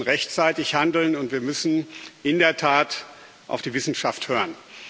Wir müssen rechtzeitig handeln, und wir müssen in der Tat auf die Wissenschaft hören.